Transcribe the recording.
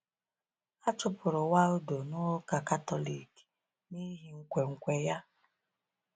A chụpụrụ Waldo n’Ụka Katọlik n’ihi nkwenkwe ya.